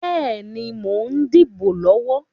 Bẹ́ẹ̀ni, mo ń dìbò lọ́wọ́.